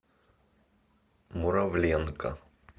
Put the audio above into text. муравленко